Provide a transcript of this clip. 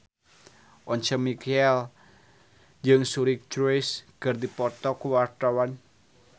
Once Mekel jeung Suri Cruise keur dipoto ku wartawan